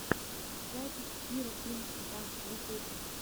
запись кира пинк ста в ютьюбе